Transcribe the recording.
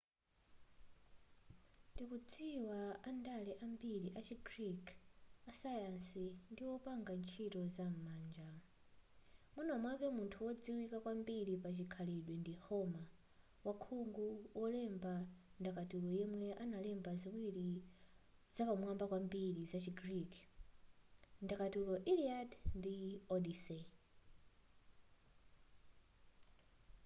tikudziwa andale ambiri achi greek asayansi ndi wopanga ntchito za manja mwina mwake munthu wodziwika kwambiri pachikhalidwe ndi homer wakhungu wolemba ndakatulo yemwe analemba ziwiri zapamwamba kwambiri zachi greek ndakatulo iliad ndi odyssey